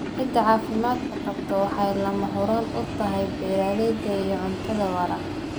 Ciidda caafimaadka qabta waxay lama huraan u tahay beeralayda iyo cuntada waara.